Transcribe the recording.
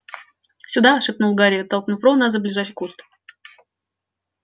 сюда шепнул гарри толкнув рона за ближайший куст